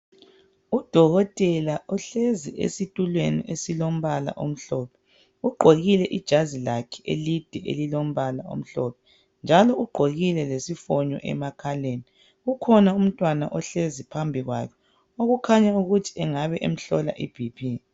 Udokotela uhlezi esitulweni esilombala omhlophe, ugqoke ijazi lakhe elide elimhlophe njalo ugqokile lesifonyo. Njalo phambi kuhlezi umntwana okukhanya ukuthi engabe emhlola iBP.